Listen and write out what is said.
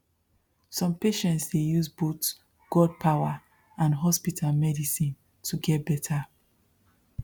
some patients dey use both god power and hospital medicine to get better